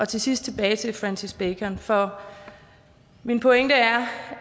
til sidst tilbage til francis bacon for min pointe er